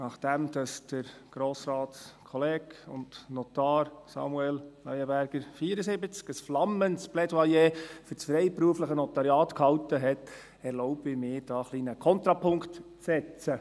Nachdem Grossratskollege und Notar Samuel Leuenberger, 74, ein flammendes Plädoyer für das freiberufliche Notariat gehalten hat, erlaube ich mir, hier einen kleinen Kontrapunkt zu setzen.